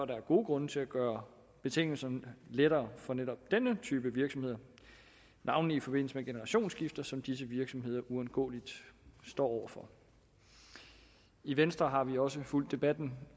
der gode grunde til at gøre betingelserne lettere for netop denne type virksomheder navnlig i forbindelse med generationsskifter som disse virksomheder uundgåeligt står over for i venstre har vi også fulgt debatten